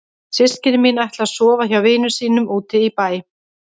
Systkini mín ætla að sofa hjá vinum sínum úti í bæ.